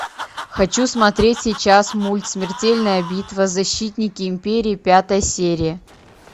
хочу смотреть сейчас мульт смертельная битва защитники империи пятая серия